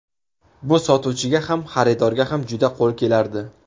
Bu sotuvchiga ham, xaridorga ham juda qo‘l kelardi.